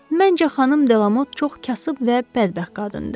Məncə, xanım Delamot çox kasıb və bədbəxt qadındır.